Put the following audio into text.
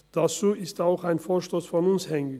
Dazu ist auch ein Vorstoss von uns hängig